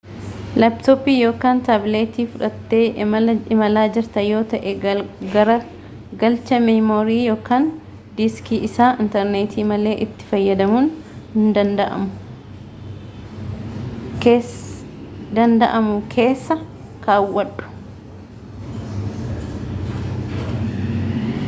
laaptooppii yookaan taabileetii fudhattee imalaa jirta yoo ta’e garagalcha meemorii yookaan diiskii isaa intarneetii malee itti fayyadamuun danda’amu keessa kaawwadhu